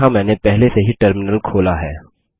यहाँ मैंने पहले से ही टर्मिनल खोला है